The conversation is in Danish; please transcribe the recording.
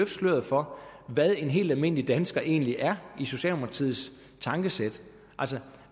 sløret for hvad en helt almindelig dansker egentlig er i socialdemokratiets tankesæt altså